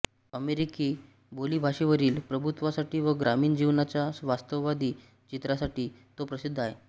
अमेरिकी बोलीभाषेवरील प्रभुत्वासाठी व ग्रामीण जीवनाच्या वास्तववादी चित्रणासाठी तो प्रसिद्ध आहे